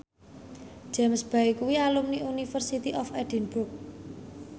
James Bay kuwi alumni University of Edinburgh